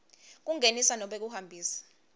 kungenisa nobe kuhambisa